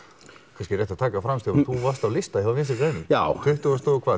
kannski rétt að taka það fram Stefán þú varst á listanum hjá vinstri grænum já tuttugasta og